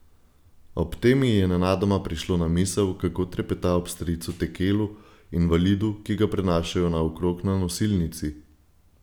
Ob tem ji je nenadoma prišlo na misel, kako trepeta ob stricu Tekelu, invalidu, ki ga prenašajo naokrog na nosilnici.